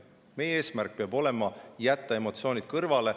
Meie eesmärk peab olema jätta emotsioonid kõrvale.